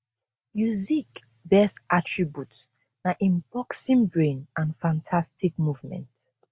usyk best attribute na im boxing brain and fantastic movement